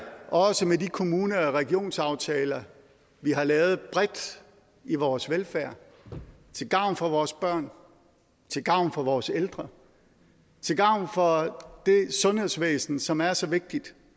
også med de kommune og regionsaftaler vi har lavet bredt i vores velfærd til gavn for vores børn til gavn for vores ældre til gavn for det sundhedsvæsen som er så vigtigt